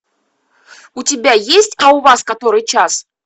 у тебя есть а у вас который час